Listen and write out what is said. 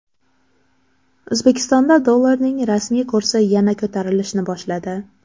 O‘zbekistonda dollarning rasmiy kursi yana ko‘tarilishni boshladi.